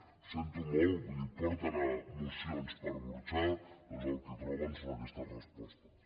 ho sento molt vull dir porten mocions per burxar doncs el que troben són aquestes respostes